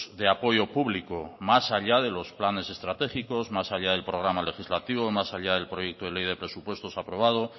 de apoyo público más allá de los planes estratégicos más allá del programa legislativo más allá del proyecto de ley de presupuestos aprobado